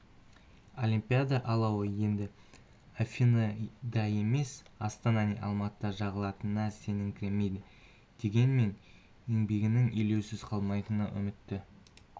олимпиада алауы енді афиныда емес астана не алматыда жағылатынына сеніңкіремейді дегенмен еңбегінің елеусіз қалмайтынына үмітті